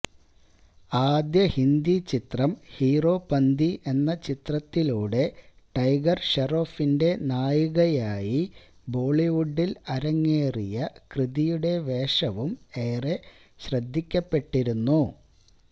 ആദ്യ ഹിന്ദി ചിത്രം ഹീറോപന്തി എന്ന ചിത്രത്തിലൂടെ ടൈഗര് ഷെറോഫിന്റെ നായികയായി ബോളിവുഡില് അരങ്ങേറിയ കൃതിയുടെ വേഷവും ഏറെ ശ്രദ്ധിക്കപ്പെട്ടിരുന്നു